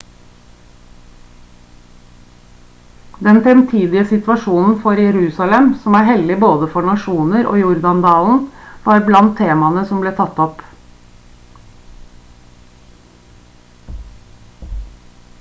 den fremtidige situasjonen for jerusalem som er hellig for både nasjoner og jordan-dalen var blant temaene som ble tatt opp